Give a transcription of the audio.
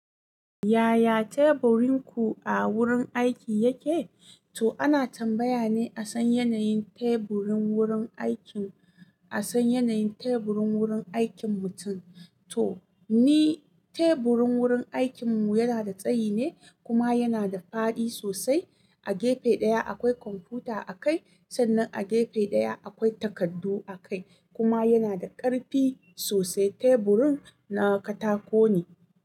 Yaya teburin ku a wurin aiki yake? To ana tambaya ne domin a san yanayin teburin wurin aikin, a san yanayin teburin wurin aikin mutum. To ni teburin wurin aikinmu yana da tsayi ne kuma yana da faɗi sosai. A gefe ɗaya akwai kwamfuta a kai sannan a gefe ɗaya akwai takardu a kai kuma yana da ƙarfi sosai. Teburin na katako ne.